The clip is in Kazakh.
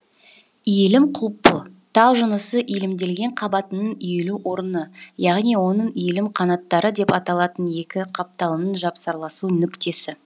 иілім құлпы тау жынысы иілімделген қабатының иілу орыны яғни онын иілім қанаттары деп аталатын екі қапталының жапсарласу нүктесі